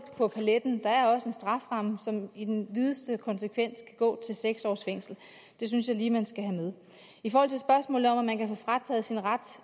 på paletten der er også en strafferamme som i den videste konsekvens går til seks års fængsel det synes jeg lige at man skal have med i forhold til spørgsmålet om om man kan få frataget sin ret